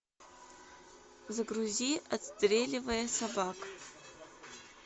загрузи отстреливая собак